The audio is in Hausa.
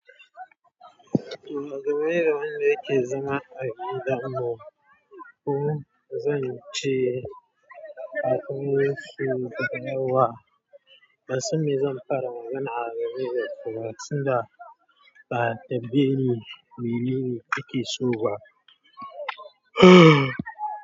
Da maye da maye yake zama a gida mu. Ku zan ce a ko yanzu da yawa. Na san ne zan fara magana a game dasu ba saboda ba a tambaye ni mene ake so ba.